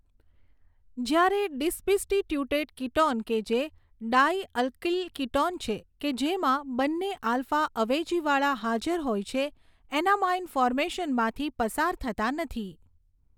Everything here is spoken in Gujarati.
જ્યારે ડિસબ્સ્ટીટ્યુટેડ કીટોન કે જે ડાઈઅલ્કઇલ કીટોન છે કે જેમાં બંને આલ્ફા અવેજીવાળા હાજર હોય છે એનામાઈન ફોર્મેશનમાંથી પસાર થતાં નથી.